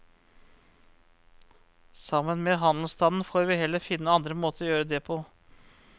Sammen med handelsstanden får vi heller finne andre måter å gjøre det på.